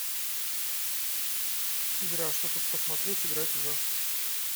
игра что тут посмотреть играть в